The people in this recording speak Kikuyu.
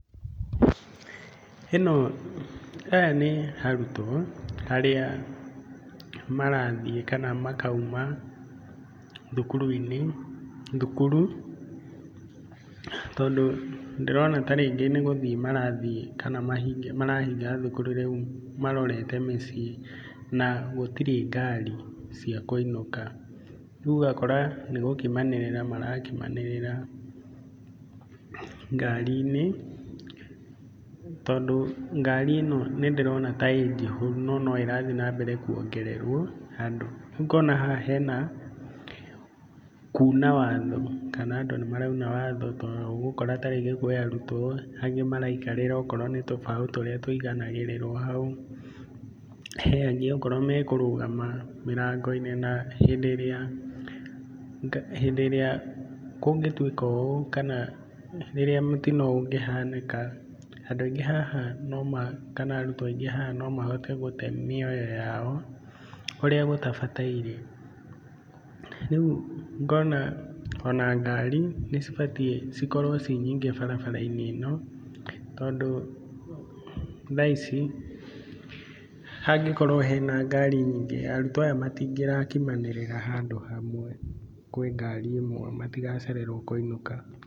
Ĩno, aya nĩ arutwo arĩa marthiĩ kana makauma thukuru-inĩ tondũ ndĩrona ta rĩngĩ nĩ gũthiĩ marathiĩ kana marahinga thukuru rĩu marorete mĩciĩ na gũtirĩ ngari cia kũinũka, rĩu ũgakora nĩ gũkimanĩrĩra marakimanĩrĩra ngarinĩ tondũ ngari ĩno nĩ ndĩrona ta ĩ njihũru no no ĩrathi na mbere kuongererwo andũ. Rĩu ngona haha hena kuna watho kana andũ nĩ marauna watho tondũ ũgũkora ta rĩngĩ kwĩ arutwo angĩ maraikarĩra o korwo nĩ tũrũbaũ tũrĩa tũiganagĩrĩrwo hau , he angĩ okorwo me kũrũgama mĩrango-inĩ na hĩndĩ ĩrĩa kũngĩtuĩka ũũ kana rĩrĩa mũtino ũngĩhanĩka andũ aingĩ haha kana arutwo aingĩ haha no mahote gũte mĩoyo yao ũrĩa gũtabataire. Rĩu ngona ona ngari nĩ cibatiĩ cikorwo ci nyingĩ barabara-inĩ ĩno tondũ thaa ici hangĩkorwo hena ngari nyingĩ arutwo aya matingĩrakimanĩrĩra handũ hamwe kwĩ ngari ĩmwe matigacererwo kũinũka.